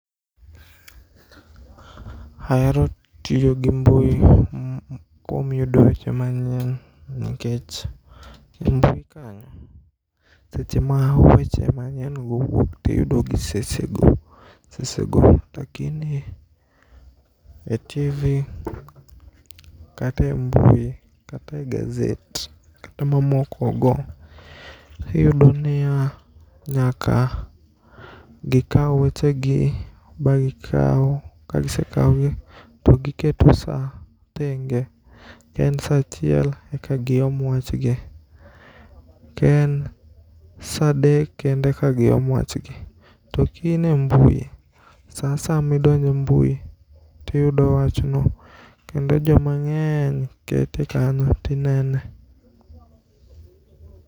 Aero tiyo gi mbui kuom yudo weche manyien nikech mbui kanyo seche ma weche manyiengo wuok tiyudogi sesego lakini e TV kata e mbui kata e gazet kata mamokogo. Iyudoniya nyaka gikau wechegi ba gikau, kagisekaogi to giketo saa thenge ken saa achiel eka giom wachgi, ken saa adek kend eka giom wachgi .To kine mbui saa asaya midonje mbui tiyudo wachno kendo jomang'eny kete kanyo tinene..